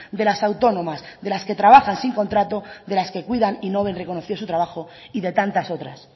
de las autónomas de las que trabajan sin contrato de las que cuidan y no ven reconocido su trabajo y de tantas otras